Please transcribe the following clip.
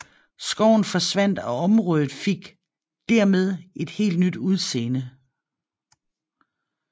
Skoven forsvandt og området fik dermed et helt nyt udseende